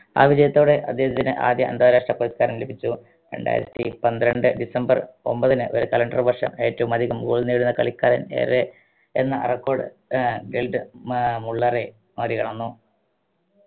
ആ വിജയത്തോടെ അദ്ദേഹത്തിന് ആദ്യ അന്താരാഷ്ട്ര പുരസ്‌കാരം ലഭിച്ചു രണ്ടായിരത്തി പന്ത്രണ്ട് ഡിസംബർ ഒമ്പതിന് ഒരു calender വർഷം ഏറ്റവും അധികം goal നേടുന്ന കളിക്കാരൻ ഏറെ എന്ന record ഏർ ബെൽഡ് ഏർ മുള്ളറെ മറികടന്നു